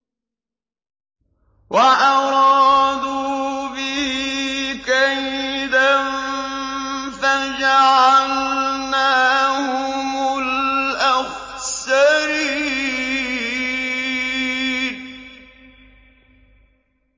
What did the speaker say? وَأَرَادُوا بِهِ كَيْدًا فَجَعَلْنَاهُمُ الْأَخْسَرِينَ